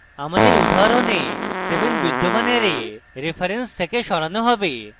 আমাদের উদাহরণে 7 বিদ্যমান অ্যারে reference থেকে সরানো হবে